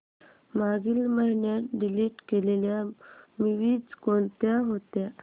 मागील महिन्यात डिलीट केलेल्या मूवीझ कोणत्या होत्या